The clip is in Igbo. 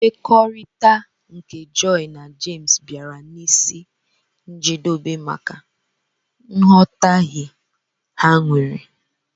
mmekọrita nke joy na james biara n'isi njedobe maka nghotahie ha nwere.